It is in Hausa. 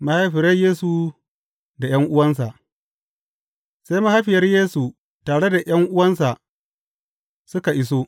Mahaifiyar Yesu da ’yan’uwansa Sai mahaifiyar Yesu tare da ’yan’uwansa suka iso.